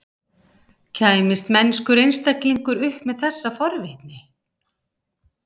Kæmist mennskur einstaklingur upp með þessa forvitni?